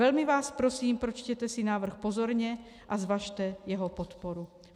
Velmi vás prosím, pročtěte si návrh pozorně a zvažte jeho podporu.